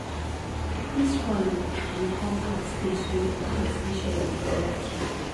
dis wan you come class late today una no finish early for work today